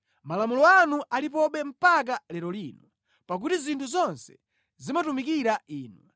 Malamulo anu alipobe mpaka lero lino, pakuti zinthu zonse zimatumikira Inu.